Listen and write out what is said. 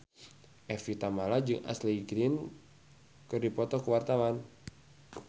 Evie Tamala jeung Ashley Greene keur dipoto ku wartawan